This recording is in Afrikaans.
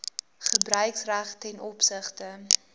gebruiksreg ten opsigte